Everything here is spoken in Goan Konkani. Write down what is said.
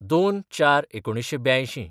०२/०४/१९८२